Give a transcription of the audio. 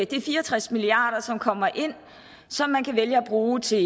det er fire og tres milliard kr som kommer ind og som man kan vælge at bruge til